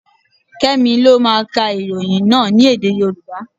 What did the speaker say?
Kẹ́mi lọ máa ka ìròyìn náà ní èdè Yorùbá.